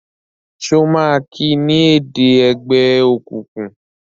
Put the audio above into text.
ṣe o ma ki ni èdè ègbé òkùnkùn?